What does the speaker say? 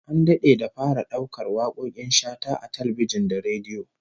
An dade da fara daukar wakokin Shata a talbijin da rediyo